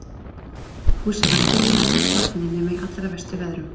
Húsið var óþiljað og hélt vatni nema í allra verstu veðrum.